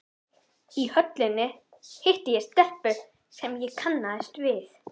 Í Höllinni hitti ég stelpu sem ég kannaðist við.